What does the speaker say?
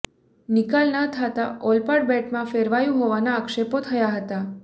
નિકાલ ના થતા ઓલપાડ બેટમાં ફેરવાયું હોવાના આક્ષેપો થયા છે